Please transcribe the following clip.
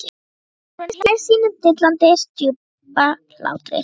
Þórunn hlær sínum dillandi djúpa hlátri.